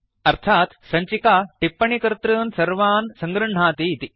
अर्थात् सञ्चिका टिप्पणिकर्तॄन् सर्वान् सङृह्णाति इति